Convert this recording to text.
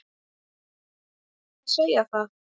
Má ekki segja það?